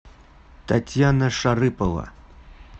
татьяна шарыпова